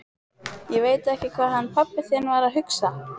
Ég veit ekki hvað hann pabbi þinn var að hugsa!